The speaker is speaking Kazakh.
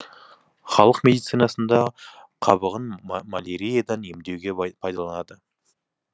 халық медицинасында қабығын маляриядан емдеуге пайдаланады